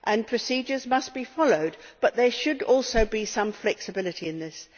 procedures must be followed, but there should also be some flexibility in this.